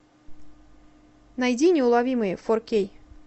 найди неуловимые фор кей